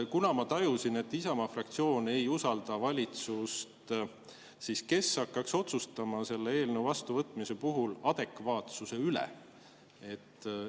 Kuna ma tajusin, et Isamaa fraktsioon ei usalda valitsust, siis kes hakkaks otsustama selle eelnõu vastuvõtmise puhul adekvaatsuse üle?